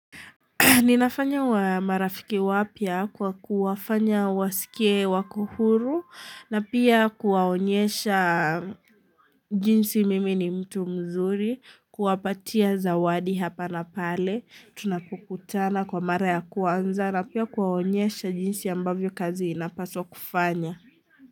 Ninafanya wa marafiki wapya kwa kuwafanya wasikei wakohuru na pia kuwaonyesha jinsi mimi ni mtu mzuri kuwapatia zawadi hapa na pale tunapokutana kwa mara ya kwanza na pia kuaonyesha jinsi ambavyo kazi inapaswa kufanya.